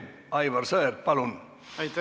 Aivar Sõerd, palun!